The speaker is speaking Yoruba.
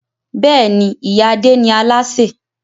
Bẹ́ẹ̀ni, ìyá Adé ni Aláṣẹ